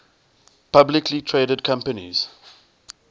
publicly traded companies